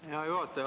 Hea juhataja!